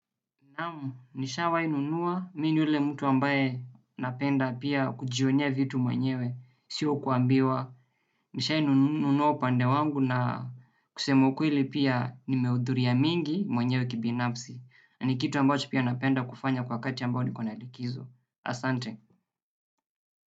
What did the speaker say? Naam, nishawahi nunua, mi ni ule mtu ambaye napenda pia kujionea vitu mwenyewe, siyo kuambiwa. Nishawahi nunua upande wangu na kusema ukweli pia nimehudhuria mingi mwenyewe kibinafsi ni kitu ambacho pia napenda kufanya kwa wakati ambao niko na likizo. Asante.